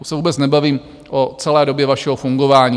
Teď se vůbec nebavím o celé době vašeho fungování.